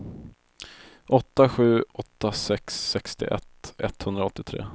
åtta sju åtta sex sextioett etthundraåttiotre